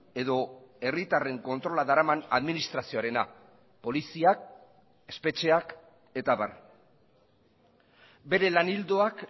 edo herritarren kontrola daraman administrazioarena poliziak espetxeak eta abar bere lan ildoak